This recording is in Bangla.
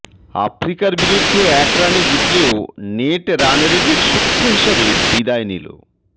আফ্রিকার বিরুদ্ধে এক রানে জিতলেও নেট রানরেটের সূক্ষ্ম হিসাবে বিদায় নিল